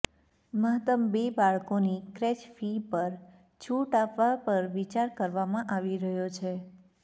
મહત્તમ બે બાળકોની ક્રેચ ફી પર છૂટ આપવા પર વિચાર કરવામાં આવી રહ્યો છે